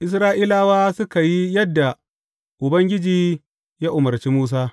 Isra’ilawa suka yi yadda Ubangiji ya umarci Musa.